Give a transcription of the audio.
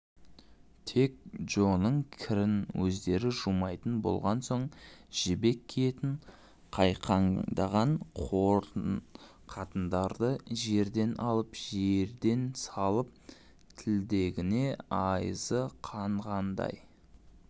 тек джоның кірін өздері жумайтын болған соң жібек киетін қайқаңдаған қатындарды жерден алып жерден салып тілдегеніне айызы қанғандай